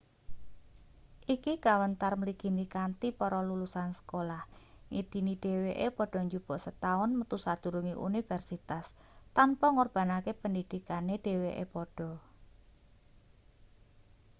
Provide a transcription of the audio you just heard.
iki kawentar mligine kanthi para lulusan sekolah ngidini dheweke padha njupuk setaun metu sadurunge universitas tanpa ngorbanake pendhidhikane dheweke padha